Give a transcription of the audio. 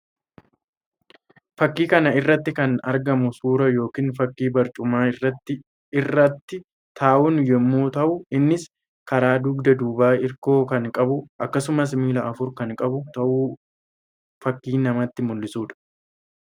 Fakkii kana irratti kan argamu suuraa yookiin fakkii barcuma irrat tahan yammuu tahu innis; karaa dugda duubaa irkoo kan qabu akkasumas miilla afur kan qabu tahuu fakkii namatti mullisuu dha.